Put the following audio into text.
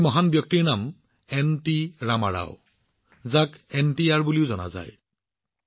এই মহান ব্যক্তিত্বৰ নাম হৈছে এনটি ৰামা ৰাও যাক আমি সকলোৱে এনটিআৰ বুলি জানো